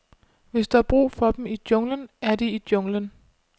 Hvis der er brug for dem i junglen, er de i junglen.